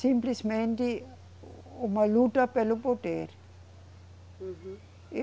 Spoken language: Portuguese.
Simplesmente o uma luta pelo poder. Uhum.